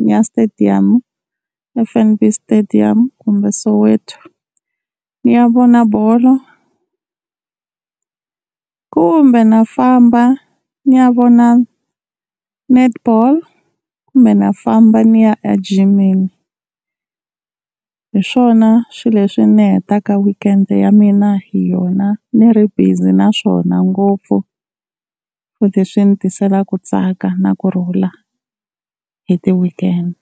ni ya stadium F_N_B stadium kumbe Soweto ni ya vona bolo. Kumbe na famba ni ya vona Netball kumbe na famba ni ya a jimini, hi swona swi leswi ni hetaka weekend ya mina hi yona ni ri busy naswona ngopfu futhe swi ni tiselaka ku tsaka na kurhula hi ti-weekend.